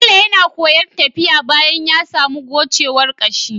Bello na koyan tafiya bayan yasamu gocewar kashi